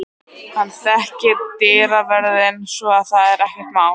Hann þekkir dyravörðinn svo að það er ekkert mál.